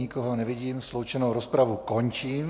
Nikoho nevidím, sloučenou rozpravu končím.